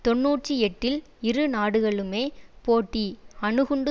தொன்னூற்றி எட்டில் இரு நாடுகளுமே போட்டி அணுகுண்டு